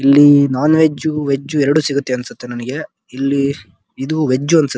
ಇಲ್ಲಿ non veg veg ಎರಡು ಸಿಗುತ್ತೆ ಅನ್ಸುತ್ತೆ ನಂಗೇ ಇಲ್ಲಿ ಇದು ವೆಜ್ ಅನ್ಸುತ್ತೆ.